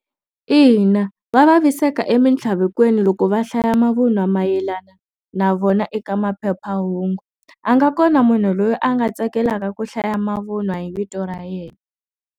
Ina va vaviseka eminthlavekweni loko va hlaya mavunwa mayelana na vona eka maphephahungu a nga kona munhu loyi a nga tsakelaka ku hlaya mavun'wa hi vito ra yena.